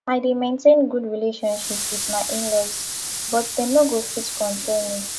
i dey maintain good relationship wit my inlaws but dem no go fit control me